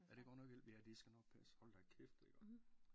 Ja det godt nok vildt ja det skal nok passe hold da kæft det er godt